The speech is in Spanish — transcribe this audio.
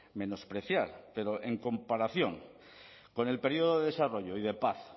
menospreciar pero en comparación con el periodo de desarrollo y de paz